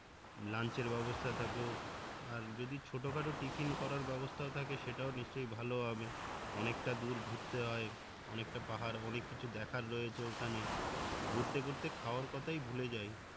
ব্যাবস্থা থাকুক আর যদি ছোট খাটো টিফিন করার ব্যাবস্থাও থাকে সেটাও নিশ্চয়ই ভালো হবে অনেক টা দূর ঘুরতে হয় অনেক টা পাহাড় অনেক কিছু দেখার রয়েছে ওখানে ঘুরতে ঘুরতে খাওয়ার কথাই ভুলে যাই